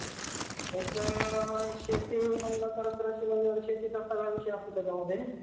अनेक प्रकारचे advance विमा policy जोडण्याचे सुविधा देते महान प्रकारानुसार विम्याचे प्रकार कार विमा